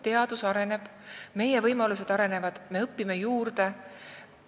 Teadus areneb, meie võimalused arenevad, me õpime juurde.